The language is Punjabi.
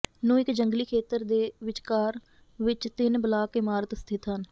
ਨੂੰ ਇੱਕ ਜੰਗਲੀ ਖੇਤਰ ਦੇ ਵਿਚਕਾਰ ਵਿੱਚ ਤਿੰਨ ਬਲਾਕ ਇਮਾਰਤ ਸਥਿਤ ਹਨ